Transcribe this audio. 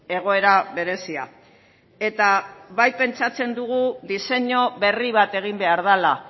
egoera berezia eta bai pentsatzen dugu diseinu berri bat egin behar dela